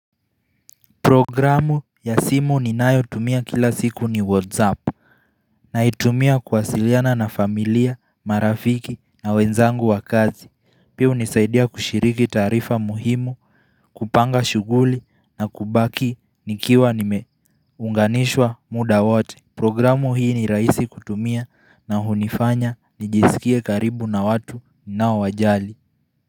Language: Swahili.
Programu ya simu ninayo tumia kila siku ni whatsapp Naitumia kuwasiliana na familia, marafiki na wenzangu wa kazi Pia hunisaidia kushiriki taarifa muhimu, kupanga shughuli na kubaki nikiwa nimeunganishwa muda wote Programu hii ni rahisi kutumia na hunifanya nijisikie karibu na watu ninao wajali.